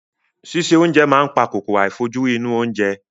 Síse oúnjẹ máa ń pa kòkòrò àìfojúrí inú oúnjẹ.